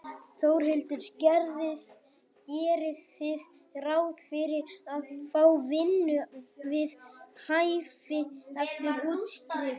Þórhildur: Gerið þið ráð fyrir að fá vinnu við hæfi eftir útskrift?